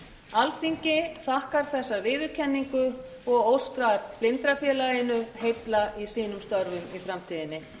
alþingi þakkar þessa viðurkenningu og óskar blindrafélaginu heilla í störfum í framtíðinni